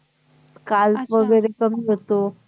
skalp वैगेरे कमी होतो